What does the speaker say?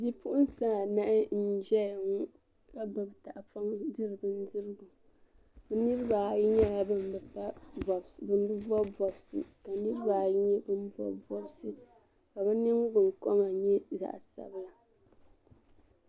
Bipuɣinsi anahi n ʒɛya ŋɔ, ka gbubi tahi pɔŋ n diri bɛn dirigu bi niri bi ayi nyɛla ban bi bɔb bɔbsi ka niri nyɛla ban bɔbi bɔbsi, ka yinɔ liiga kama nyɛ zaɣi sabila.